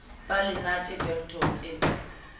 ba le nate boltong e